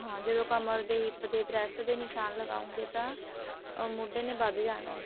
ਹਾਂ ਜਦੋਂ ਆਪਾਂ ਕਮਰ ਦੇ hip ਦੇ breast ਦੇ ਨਿਸ਼ਾਨ ਲਗਾਉਣਗੇ ਤਾਂ ਅਮ ਮੋਢੇ ਨੇ ਵੱਧ ਜਾਂ ਹੈ